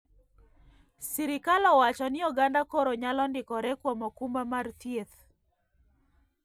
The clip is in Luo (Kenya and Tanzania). Sirkal owacho ni oganda koro nyalo ndikore kuom okumba mar thieth